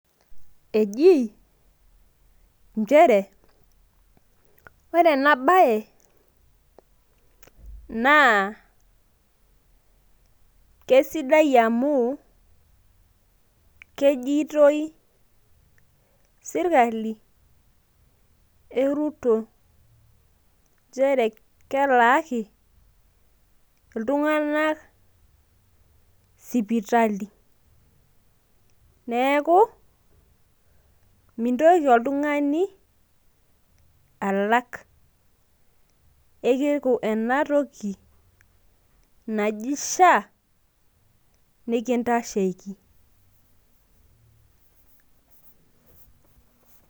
ejii nchere ,ore ena bae, naa kesidai amu, kejitoi sirkali e ruto, nchere kelaaki iltunganak sipitali. neeku mintoki oltungani alak, keeku ine atoki naji sha nikintasheiki.